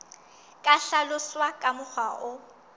ka hlaloswa ka mokgwa o